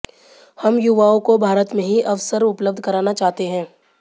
हम युवाओं को भारत में ही अवसर उपलब्ध कराना चाहते हैं